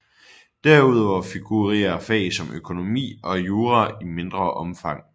Derudover figurerer fag som økonomi og jura i mindre omfang